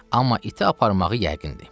Amma iti aparmağı yəqindir.